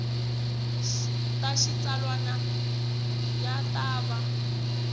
ta xitsalwana ya ta va